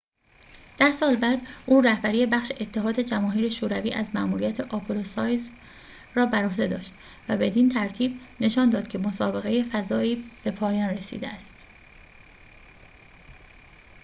ده سال بعد او رهبری بخش اتحاد جماهیر شوروی از مأموریت آپولو-سایوز را بر عهده داشت و بدین ترتیب نشان داد که مسابقه فضایی به پایان رسیده است